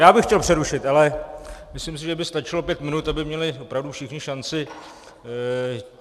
Já bych chtěl přerušit, ale myslím si, že by stačilo pět minut, aby měli opravdu všichni šanci.